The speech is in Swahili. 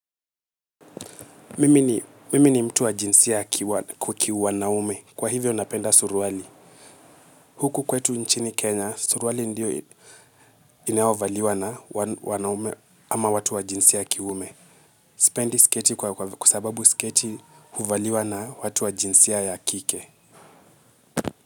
Mimi ni mtu wa jinsi ya kiume. Kwa hivyo napenda suruali. Huku kwetu nchini Kenya, suruali ndiyo inaovaliwa na wanaume ama watu wa jinsia ya kiume. Sipendi sketi kwa sababu sketi huvaliwa na jinsia ya kike.